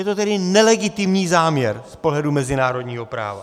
Je to tedy nelegitimní záměr z pohledu mezinárodního práva.